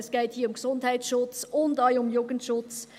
Es geht hier um Gesundheits- und auch um Jugendschutz.